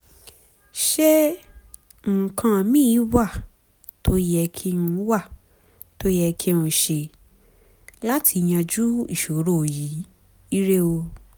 ṣé nǹkan míì wà tó yẹ wà tó yẹ kí n ṣe láti yanjú ìṣòro yìí? ire o